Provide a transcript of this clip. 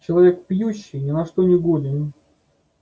человек пьющий ни на что не годен